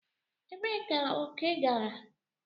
Ebee ka oke gara?